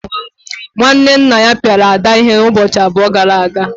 nwanne nna ya piara Ada ihe ụbọchị abụọ gara aga.